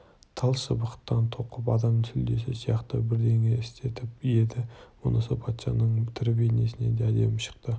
тал шыбықтан тоқып адам сүлдесі сияқты бірдеңе істетіп еді мұнысы патшаның тірі бейнесінен де әдемі шықты